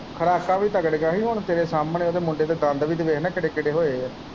ਖੁਰਾਕਾਂ ਵੀ ਤਗੜੀਆਂ ਸੀ ਹੁਣ ਤੇਰੇ ਸਾਮਣੇ ਓਹਦੇ ਮੁੰਡੇ ਦੇ ਦੰਦ ਵੀ ਤੇ ਵੇਖ ਕਿੱਡੇ ਕਿੱਡੇ ਹੋਏ ਵਾ।